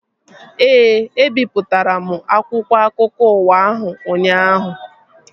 Ee, ebipụtara m akwụkwọ akụkọ ụwa ahụ ụnyaahụ